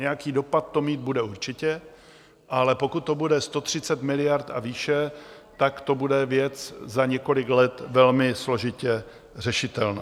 Nějaký dopad to mít bude určitě, ale pokud to bude 130 miliard a výše, tak to bude věc za několik let velmi složitě řešitelná.